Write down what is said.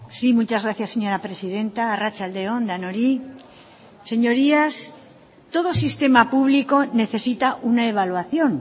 sí muchas gracias señora presidenta arratsalde on denoi señorías todo sistema público necesita una evaluación